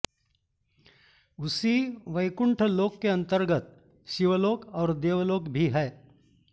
उसी वैकुण्ठ लोकके अन्तर्गत शिवलोक और देवलोक भी हैं